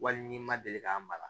Wali n'i ma deli k'a mara